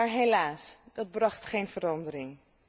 Maar helaas, dat bracht geen verandering.